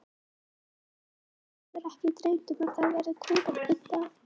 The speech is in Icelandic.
Hvern hefur ekki dreymt um það að verða kóngur einn dag?